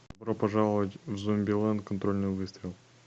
добро пожаловать в зомбилэнд контрольный выстрел